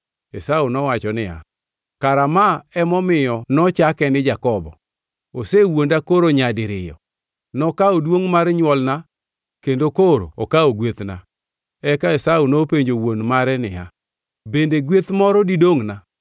Esau nowacho niya, “Kara ma emomiyo nochake ni Jakobo? Osewuonda koro nyadiriyo: Nokawo duongʼ mar nywolna kendo koro okawo gwethna!” Eka Esau nopenjo wuon mare niya, “Bende gweth moro didongʼna?”